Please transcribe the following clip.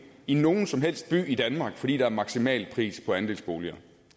i nogen som helst by i danmark fordi der er maksimalpris på andelsboliger